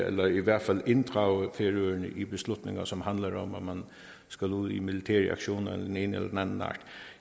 eller i hvert fald inddrages i beslutninger som handler om at skulle ud i militære aktioner af den ene eller den anden art